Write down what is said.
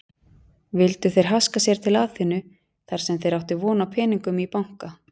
Vildu þeir haska sér til Aþenu þarsem þeir áttu von á peningum í banka.